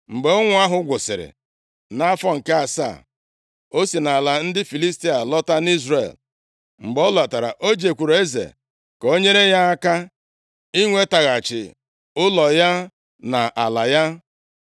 Mgbe ụnwụ ahụ gwụsịrị nʼafọ nke asaa, o si nʼala ndị Filistia lọta nʼIzrel. Mgbe ọ lọtara, o jekwuuru eze ka o nyere ya aka inwetaghachi ụlọ ya na ala ya.